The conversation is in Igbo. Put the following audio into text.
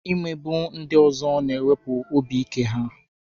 Imegbu ndị ọzọ na-ewepụ obi ike ha.